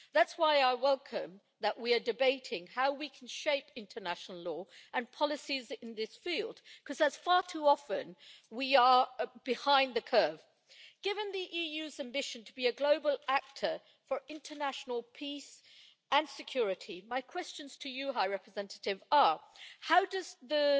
That is why I welcome that we are debating how we can shape international law and policies in this field, because far too often we are behind the curve. Given the EU's ambition to be a global actor for international peace and security, my questions to the High Representative are how does the